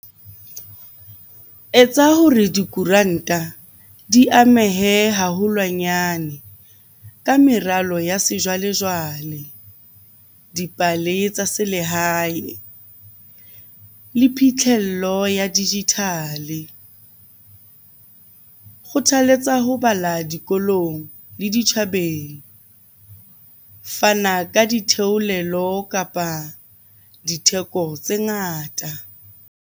Etsa hore dikoranta di amehe haholwanyane ka meralo ya sejwalejwale, dipale tsa selehae le phitlhello ya digital-e. Kgothaletsa ho bala dikolong le ditjhabeng. Fana ka ditheolelo kapa ditheko tse ngata.